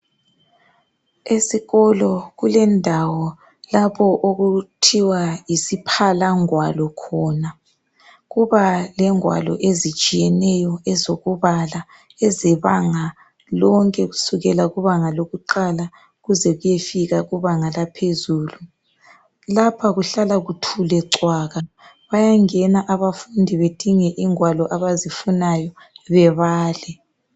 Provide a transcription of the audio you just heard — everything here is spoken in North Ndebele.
Esikolo kulendawo lapho okuthiwa yisiphalangwalo khona. Kuba lengwalo ezitshiyeneyo ezokubala ezebanga lonke kusukela kubanga lokuqala kuzekuyefika kubanga laphezulu. Lapha kuhlala kuthule cwaka. Bayangena abafundi bedinge ingwalo abazifunayo bebale.